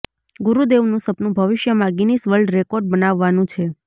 ગુરુદેવનું સપનું ભવિષ્યમાં Guinness world record બનાવવાનું છે